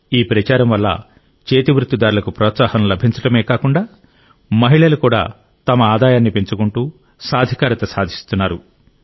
ఈ ప్రచారం వల్ల చేతివృత్తిదారులకు ప్రోత్సాహం లభించడమే కాకుండా మహిళలు కూడా తమ ఆదాయాన్ని పెంచుకుంటూ సాధికారత సాధిస్తున్నారు